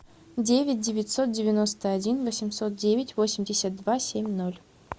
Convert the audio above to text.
девять девятьсот девяносто один восемьсот девять восемьдесят два семь ноль